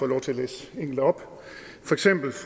lov til at læse enkelte op for eksempel